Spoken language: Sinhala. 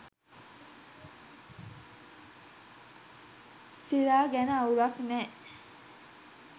සිරා ගැන අවුලක් නෑ